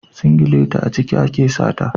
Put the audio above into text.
Singilati a ciki ake sa ta.